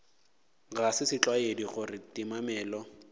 ga se setlwaedi gore timamello